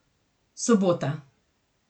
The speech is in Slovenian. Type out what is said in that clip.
Sobota.